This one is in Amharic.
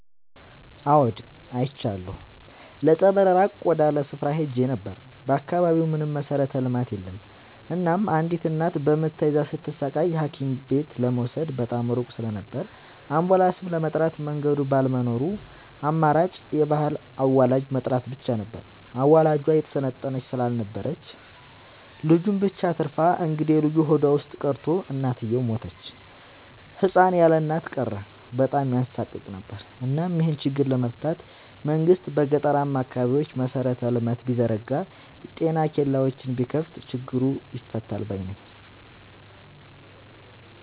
አዎድ አይቻለሁ ለፀበል ራቅ ወዳለ ስፍራ ሄጄ ነበር። በአካባቢው ምንም መሠረተ ልማት የለም እናም አንዲት እናት በምጥ ተይዛ ስትሰቃይ ሀኪምቤት ለመውሰድ በጣም ሩቅ ስለነበር አንቡላስም ለመጥራት መንገድ ባለመኖሩ ያለው አማራጭ የባህል አዋላጅ መጥራት ብቻ ነበር። አዋላጇ የሰለጠነች ስላልነበረች ልጁን ብቻ አትርፋ እንግዴልጁ ሆዷ ውስጥ ቀርቶ እናትየው ሞተች ህፃን ያለእናት ቀረ በጣም ያሳቅቅ ነበር እናም ይሄን ችግር ለመፍታት መንግስት በገጠራማ አካባቢዎች መሰረተ ልማት ቢዘረጋ ጤና ኬላዎችን ቢከፋት ችግሩ ይፈታል ባይነኝ።